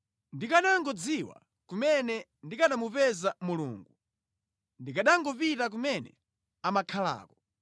Ndikanangodziwa kumene ndikanamupeza Mulungu; ndikanangopita kumene amakhalako!